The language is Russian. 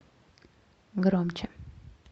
громче